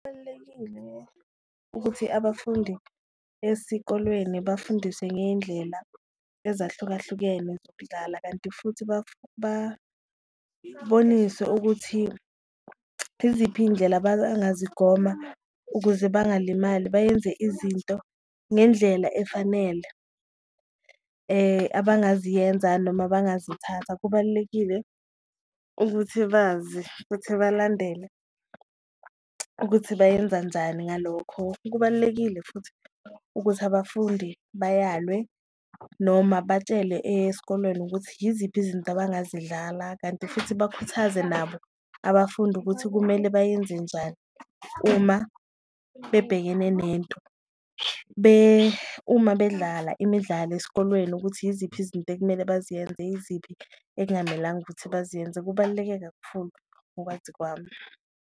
Kubalulekile ukuthi abafundi esikolweni bafundiswe ngeyindlela ezahlukahlukene zokudlala kanti futhi baboniswe ukuthi iziphi iyindlela angazigoma ukuze bangalimali bayenze izinto ngendlela efanele abangaziyenza noma abangazithatha. Kubalulekile ukuthi bazi futhi balandele ukuthi bayenza njani ngalokho, kubalulekile futhi ukuthi abafundi bayalwe noma batshele eyesikolweni ukuthi yiziphi izinto abangazidlala. Kanti futhi bakhuthaze nabo abafundi ukuthi kumele bayenze njani uma bebhekene nento, uma bedlala imidlalo esikolweni ukuthi yiziphi izinto ekumele baziyenze, yiziphi ekungamelanga ukuthi baziyenze, kubaluleke kakhulu ngokwazi kwami.